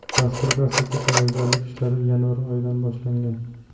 Dasturga asosiy tayyorgarlik ishlari yanvar oyidan boshlangan.